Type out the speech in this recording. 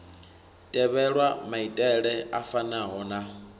tevhelwa maitele a fanaho na